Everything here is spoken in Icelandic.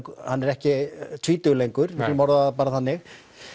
hann er ekki tvítugur lengur getum orðað það þannig